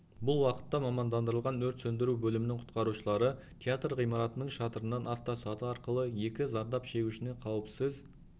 бұл уақытта мамандандырылған өрт сөндіру бөлімінің құтқарушылары театр ғимаратының шатырынан автосаты арқылы екі зардап шегушіні қауіпсіз